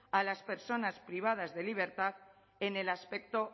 a las personas privadas de libertad en el aspecto